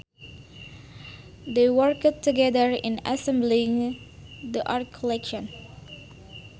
They worked together in assembling the art collection